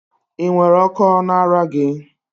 Ị nwere Okó na ara gị?